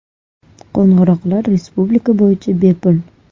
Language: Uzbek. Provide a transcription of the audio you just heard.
Qo‘ng‘iroqlar respublika bo‘yicha bepul.